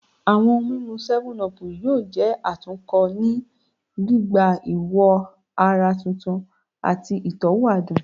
Awọn ohun mimu 7up yoo jẹ atunkọ ni gbigba iwo ara tuntun ati itọwo adun